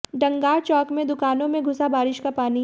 डंगार चौक में दुकानों में घुसा बारिश का पानी